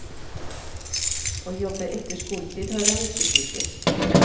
Å jobbe etter skoletid har han ikke tid til.